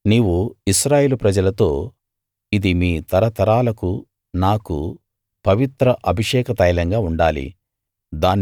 నీవు ఇశ్రాయేలు ప్రజలతో ఇది మీ తరతరాలకు నాకు పవిత్ర అభిషేక తైలంగా ఉండాలి